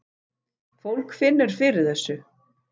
Fólk finnur fyrir þessu